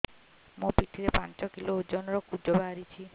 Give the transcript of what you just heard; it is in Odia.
ମୋ ପିଠି ରେ ପାଞ୍ଚ କିଲୋ ଓଜନ ର କୁଜ ବାହାରିଛି